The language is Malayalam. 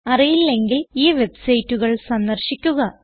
അറിയില്ലെങ്കിൽ ഈ വെബ്സൈറ്റുകൾ സന്ദർശിക്കുക